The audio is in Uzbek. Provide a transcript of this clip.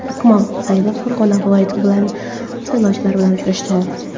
Akmal Saidov Farg‘ona viloyati saylovchilari bilan uchrashdi.